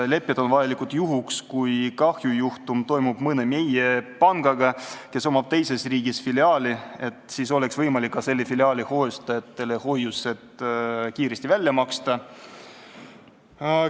Lepped on vajalikud juhuks, kui kahjujuhtum toimub mõnes meie pangas, kellel on filiaal teises riigis, et siis oleks võimalik ka selle filiaali hoiustajatele hoiused kiiresti välja maksta.